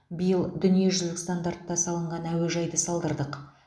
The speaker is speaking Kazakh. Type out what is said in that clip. биыл дүниежүзілік стандартта салынған әуежайды салдырдық